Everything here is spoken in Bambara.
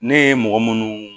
Ne ye mɔgɔ munnu